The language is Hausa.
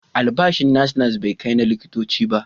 Albashin nas-nas bai kai na likitoci ba.